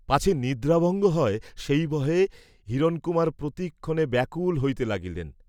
পাছে নিদ্রা ভঙ্গ হয় সেই ভয়ে হিরণকুমার প্রতিক্ষণে ব্যাকুল হইতে লাগিলেন।